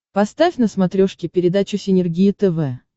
поставь на смотрешке передачу синергия тв